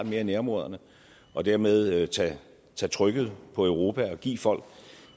mere i nærområderne og dermed tage trykket fra europa og give folk